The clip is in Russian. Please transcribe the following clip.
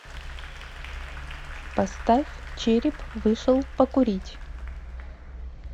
поставь череп вышел покурить